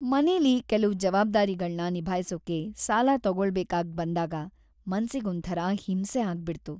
ಮನೇಲಿ ಕೆಲ್ವು ಜವಾಬ್ದಾರಿಗಳ್ನ ನಿಭಾಯ್ಸೋಕೆ ಸಾಲ ತಗೊಳ್ಬೇಕಾಗ್‌ ಬಂದಾಗ ಮನ್ಸಿಗ್‌ ಒಂಥರ ಹಿಂಸೆ ಆಗ್ಬಿಡ್ತು.